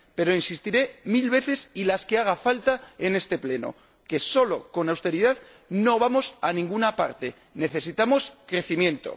Pero insistiré mil veces y las que haga falta en este Pleno solo con austeridad no vamos a ninguna parte, necesitamos crecimiento.